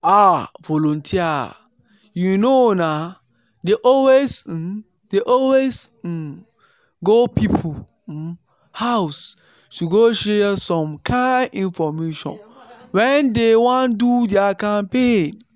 ah! volunteers you know na dey always um dey always um go people um house to go share some kind infomation when dey wan do their campaigns.